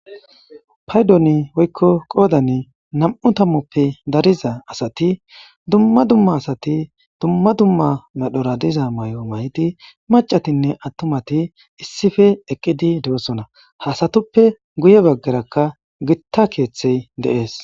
paydoni oykko qoodani nam7u tammoppe dariza asati dumma dumma asati dumma dumma madhora diza may7o may7di macatinne attumati issife eqqidi de7osona hasatuppe guye baggarakka gitta keeththey deees